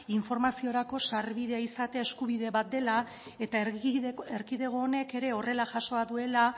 informaziorako sarbidea izatea eskubide bat dela eta erkidego honek ere horrela jasoa duela